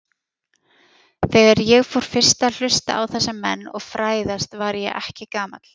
Þegar ég fór fyrst að hlusta á þessa menn og fræðast var ég ekki gamall.